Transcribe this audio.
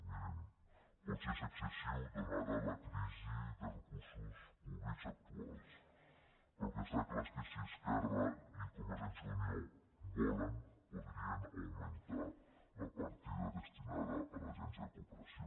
mirin potser és excessiu donada la crisi de recursos públics actuals però el que està clar és que si esquerra i convergència i unió volen podrien augmentar la partida destinada a l’agència de cooperació